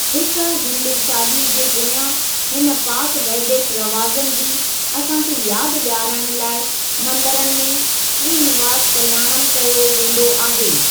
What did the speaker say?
हिकु हिंदू शादी जे पोयां हिन पाक वैदिक रवाज़नि जी असांखे यादि ॾियारण लाइ मंदिरनि में श्रीनिवास कल्‍याणम कयो वेंदो आहे।